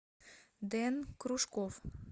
дэн кружков